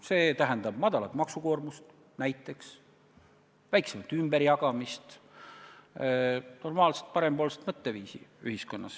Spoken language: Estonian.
See tähendab näiteks väikest maksukoormust, väiksemat ümberjagamist, normaalset parempoolset mõtteviisi ühiskonnas.